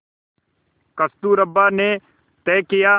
कस्तूरबा ने तय किया